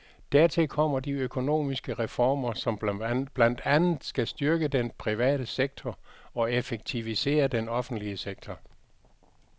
Dertil kommer de økonomiske reformer, som blandt andet skal styrke den private sektor og effektivisere den offentlige sektor.